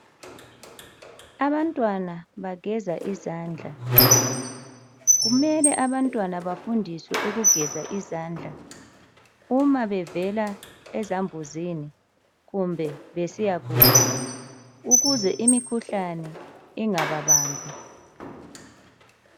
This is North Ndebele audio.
Abantwana bageza izandla. Kumele abantwana bafundiswe ukugeza izandla uma bevela ezambuzini, kumbe besiya kudla ukuze imikhuhlane ingababambi.